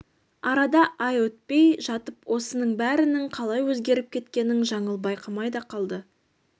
арада ай өтпей жатып осының бәрінің қалай өзгеріп кеткенін жаңыл байқамай да қалды